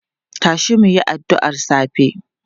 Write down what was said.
Tashi mu yi addu'ar safe!